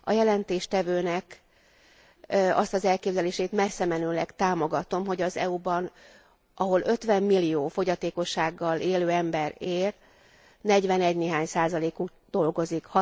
A jelentéstevőnek azt az elképzelését messzemenően támogatom, hogy az EU ban, ahol 50 millió fogyatékossággal élő ember él, negyvenegynéhány százalékuk dolgozik.